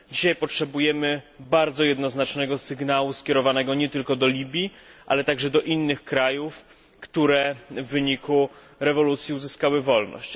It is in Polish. Dzisiaj potrzebujemy bardzo jednoznacznego sygnału skierowanego nie tylko do Libii, ale także do innych krajów, które w wyniku rewolucji uzyskały wolność.